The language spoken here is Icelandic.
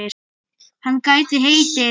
Hann gæti heitið